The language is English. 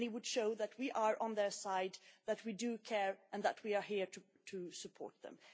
It would show that we are on their side, that we do care and that we are here to support them.